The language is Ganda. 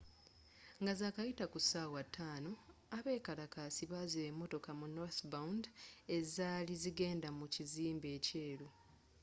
nga zakayita ku ssaawa 11:00 abeekalakaasi baziba emmotoka mu northbound ezaali zigenda mu kizimbe ekyeru